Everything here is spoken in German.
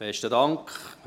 Besten Dank.